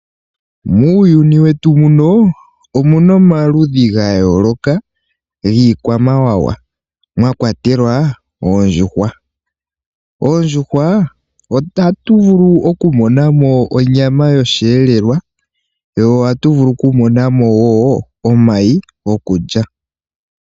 Muuyuni wetu muno, omuna omaludhi ga yooloka giikwamawawa, mwa kwatelwa oondjuhwa. Oondjuhwa ohatu vulu oku mona mo onyama yoshi helelwa, ohatu vulu oku mona mo wo omayi gokulya.